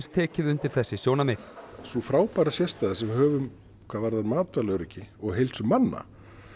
tekið undir þessi sjónarmið sú frábæra sérstaða sem við höfum hvað varðar matvælaöryggi og heilsu manna